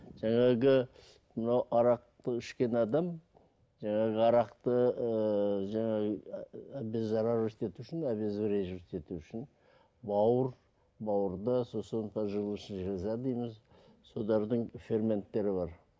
жаңағы мынау арақты ішкен адам жаңағы арақты ыыы жаңағы ету үшін бауыр бауырды сосын поджелудочный железа дейміз солардың ферменттері бар